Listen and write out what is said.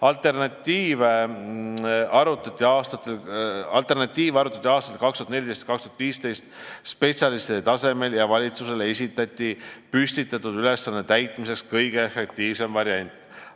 " Alternatiive arutati aastatel 2014–2015 spetsialistide tasemel ja valitsusele esitati ülesande täitmiseks kõige efektiivsem variant.